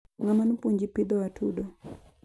Ngama nopuonji pidho atudo